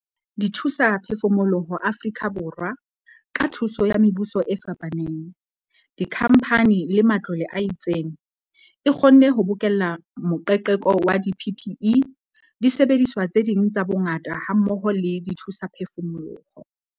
Dithusaphefumoloho Afrika Borwa, ka thuso ya mebuso e fapaneng, dikhamphane le matlole a itseng, e kgonne ho bokella moqeqeko wa di-PPE, disebediswa tse ding tsa bongaka hammoho le dithusaphefumoloho.